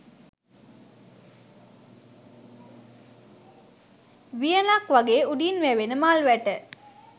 වියනක් වගේ උඩින් වැවෙන මල් වැට